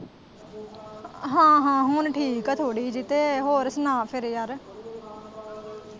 ਹਾਂ-ਹਾਂ ਹੁਣ ਠੀਕ ਏ ਥੋੜ੍ਹੀ ਜਿਹੀ ਤੇ ਹੋਰ ਸੁਣਾ ਫੇਰ ਯਾਰ।